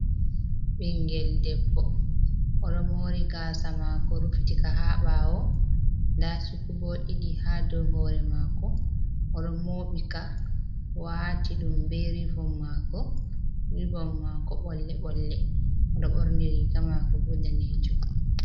Ɓingel debbo oɗo mori gasa mako rufitika ha ɓawo, nda cukubo ɗiɗi ha dow hore mako, odo mobika wati ɗum be rivon mako, rivom mako bolle bolle, oɗo ɓorni riga mako bo danejum.